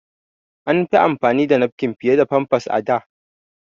An fi amfani da nafkin fiye da famfas a da.